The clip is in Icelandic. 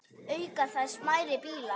Auk þeirra smærri bílar.